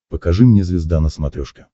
покажи мне звезда на смотрешке